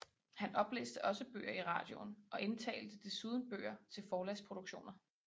Han oplæste også bøger i radioen og indtalte desuden bøger til forlagsproduktioner